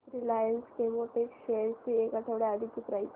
Reliance Chemotex shares ची एक आठवड्या आधीची प्राइस